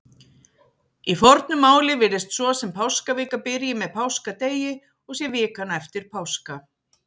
Í fornu máli virðist svo sem páskavika byrji með páskadegi og sé vikan eftir páska.